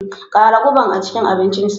Ƙara guban a cikin abincinsa.